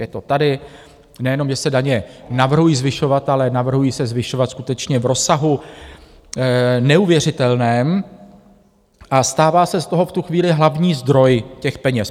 Je to tady, nejenom že se daně navrhují zvyšovat, ale navrhují se zvyšovat skutečně v rozsahu neuvěřitelném, a stává se z toho v tu chvíli hlavní zdroj těch peněz.